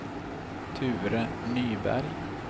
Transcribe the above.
Ture Nyberg